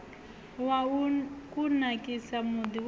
wa u kunakisa muḓi woṱhe